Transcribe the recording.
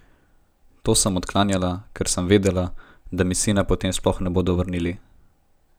To sem odklanjala, ker sem vedela, da mi sina potem sploh ne bodo vrnili.